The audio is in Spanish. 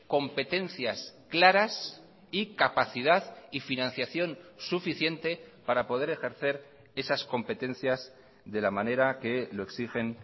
competencias claras y capacidad y financiación suficiente para poder ejercer esas competencias de la manera que lo exigen